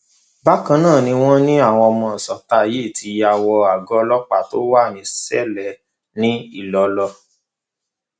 bákan náà ni wọn ní àwọn ọmọ ìsọta yìí ti ya wọ àgọ ọlọpàá tó wà ní ṣẹlẹ ní ilọlọ